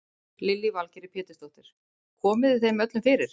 Lillý Valgerður Pétursdóttir: Komið þeim öllum fyrir?